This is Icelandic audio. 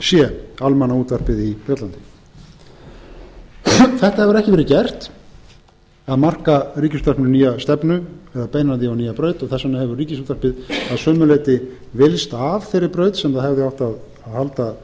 bbc almannaútvarpið í bretlandi þetta hefur ekki verið gert að marka ríkisútvarpinu nýja stefnu að beina því að nýja braut þess vegna hefur ríkisútvarpið að sumu leyti villst af þeirri braut sem það hefði átt að halda sig